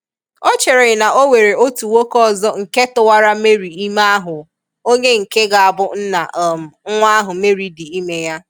O chere na onwere otu nwoke ọzọ nke tụwara Mary ime ahụ onye nke ga abụ nna um nwa ahụ Mary di ime ya.